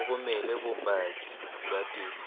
o romele bopaki ba tefo